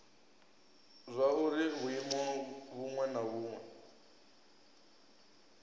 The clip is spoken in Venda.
zwauri vhuimo vhuṅwe na vhuṅwe